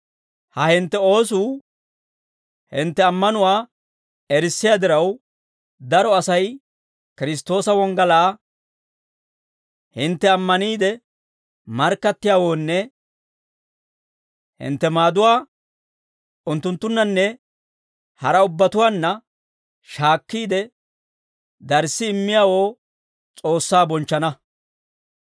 Ha hintte oosuu hintte ammanuwaa erissiyaa diraw, daro Asay Kiristtoosa wonggalaa hintte ammaniide markkattiyaawoonne hintte maaduwaa unttunttunnanne haraa ubbatuwaanna shaakkiide, darssi immiyaawoo S'oossaa bonchchana.